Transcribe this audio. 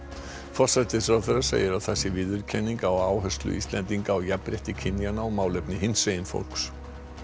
forsætisráðherra segir að það sé viðurkenning á áherslu Íslendinga á jafnrétti kynjanna og málefni hinsegin fólks